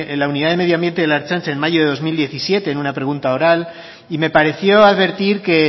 la unidad de medioambiente en la ertzaintza en mayo de dos mil diecisiete en una pregunta oral y me pareció advertir que